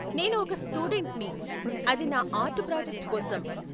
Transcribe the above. నేను ఒక స్టూడెంట్ని, అది నా ఆర్ట్ ప్రాజెక్ట్ కోసం.